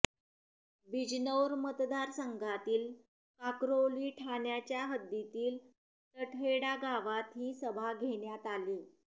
बिजनौर मतदारसंघातील काकरौली ठाण्याच्या हद्दीतील टडहेडा गावात ही सभा घेणयात आली